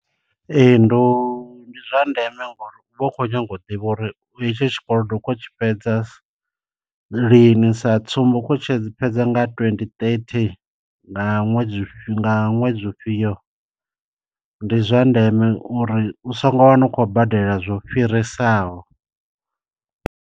Ee ndo ndi zwa ndeme ngori u vha u khou nyanga u ḓivha uri hetshi tshikolodo u khou tshi fhedza lini, sa tsumbo ukho tshi fhedza nga twenty thirty nga ṅwedzi nga ṅwedzi u fhio, ndi zwa ndeme uri u songo wana u khou badela zwo fhirisaho.